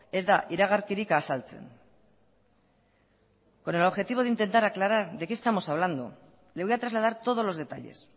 ez da iragarkirik azaltzen con el objetivo de intentar aclarar de qué estamos hablando le voy a trasladar todos los detalles